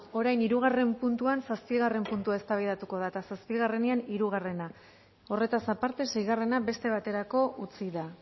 orain hirugarren puntuan zazpigarren puntua eztabaidatuko da eta zazpigarrenean hirugarrena horretaz aparte seigarrena beste baterako utzi da